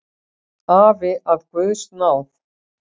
Afi af guðs náð.